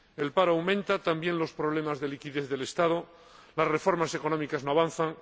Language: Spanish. El paro aumenta, así como los problemas de liquidez del Estado, y las reformas económicas no avanzan.